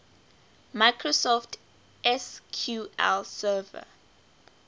microsoft sql server